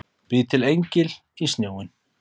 Bý til engil í snjóinn.